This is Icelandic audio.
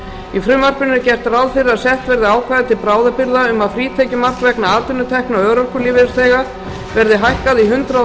í frumvarpinu er gert ráð fyrir að sett verði ákvæði til bráðabirgða um að frítekjumark vegna atvinnutekna örorkulífeyrisþega verði hækkað í hundrað þúsund